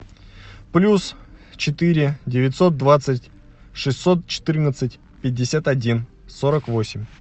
плюс четыре девятьсот двадцать шестьсот четырнадцать пятьдесят один сорок восемь